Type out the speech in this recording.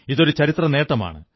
ഇതൊരു ചരിത്രനേട്ടമാണ്